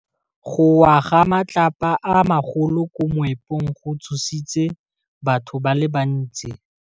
Go wa ga matlapa a magolo ko moepong go tshositse batho ba le bantsi.